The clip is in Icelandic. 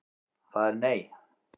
Það er nei.